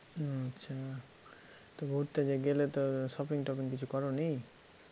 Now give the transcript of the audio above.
আচ্ছা তো ঘুরতে যে গেলে তো shopping টপিং কিছু করোনি?